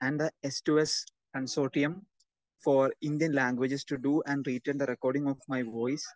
speaker 2 and the S to S consortium for Indian languages to to and and treated the recording of my voice